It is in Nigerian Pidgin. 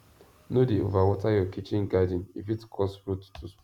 no dey over water your kitchen garden e fit cause root to sp